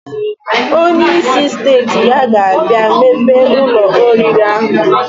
Onye isi steeti ya ga abia mepe Ụlọ oriri ahu.